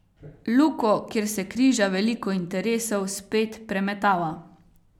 Luko, kjer se križa veliko interesov, spet premetava.